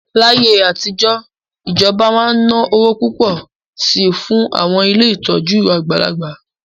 Láyé àtijọ́, ìjọba máa ń ná owó púpọ̀ sí i fún àwọn ilé ìtọ́jú àgbàlagbà